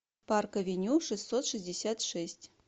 парк авеню шестьсот шестьдесят шесть